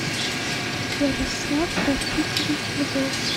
ярослав рафикович львов